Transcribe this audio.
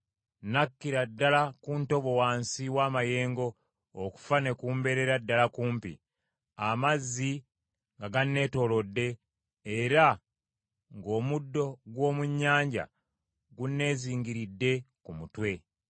Nakkira ddala ku ntobo wansi w’amayengo, okufa ne kumbeerera ddala kumpi; Amazzi nga ganneetoolodde era ng’omuddo gw’omu nnyanja gunneezingiridde ku mutwe.